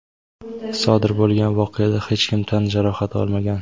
sodir bo‘lgan voqeada hech kim tan jarohati olmagan.